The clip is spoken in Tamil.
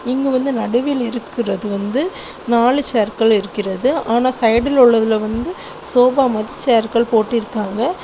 இங்கு வந்து நடுவில் இருக்குறது வந்து நாலு சேர்கள் இருக்கிறது ஆன சைடுல உள்ளதுல வந்து சோபா மாரி சேர்கள் போட்டிருக்காங்க.